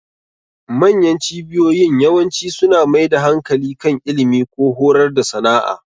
Manyan cibiyoyin yawanci suna mai da hankali kan ilimi, ko horar da sana'a.